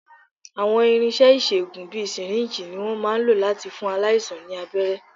Àwọn irinṣẹ́ ìṣègùn bíi sìríǹjì ni wọ́n máà ń lò láti fún aláìsàn ní abẹ́rẹ́.